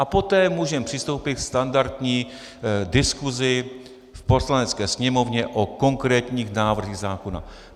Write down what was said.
A poté můžeme přistoupit ke standardní diskusi v Poslanecké sněmovně o konkrétních návrzích zákona.